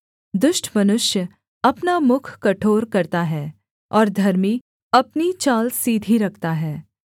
दुष्ट मनुष्य अपना मुख कठोर करता है और धर्मी अपनी चाल सीधी रखता है